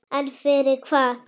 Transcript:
En fyrir hvað?